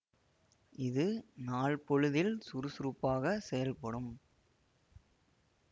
இது நாள் பொழுதில் சுறுசுறுப்பாக செயல்படும்